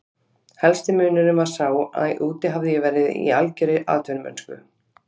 Helsti munurinn var sá að úti hafði ég verið í algjörri atvinnumennsku.